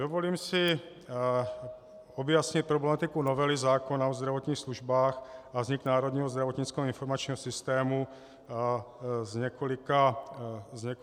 Dovolím si objasnit problematiku novely zákona o zdravotních službách a vznik Národního zdravotnického informačního systému z několika otázek.